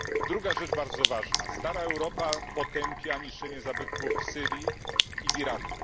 Druga rzecz bardzo ważna stara Europa potępia niszczenie zabytków w Syrii i w Iraku.